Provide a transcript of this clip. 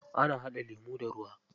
Ana haɗa lemu da ruwa.